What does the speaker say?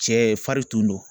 Cɛfarin tun don.